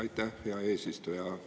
Aitäh, hea eesistuja!